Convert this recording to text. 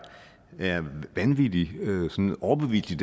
vanvittig overbevisende